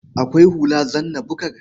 Akwai hula zanna-bukar.